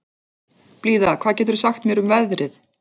Blíða, hvað geturðu sagt mér um veðrið?